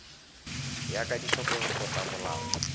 ya ka ditlhokego tsa molao